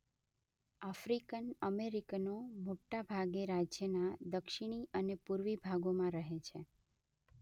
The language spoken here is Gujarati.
આફ્રિકન અમેરિકનો મોટાભાગે રાજ્યના દક્ષિણી અને પૂર્વી ભાગોમાં રહે છે.